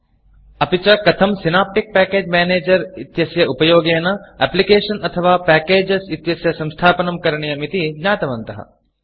अपि च कथं सिनेप्टिक् पैकेज Managerसिनाप्टिक् पेकेज् मेनेजर् इत्यस्य उपयोगेन Applicationएप्लिकेषन् अथवा Packageपेकेज् इत्यस्य संस्थापनं करणीयम् इति ज्ञातवन्तः